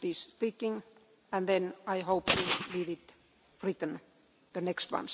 Amikor költségvetésről van szó, európai uniós vagy európai parlamenti költségvetésről,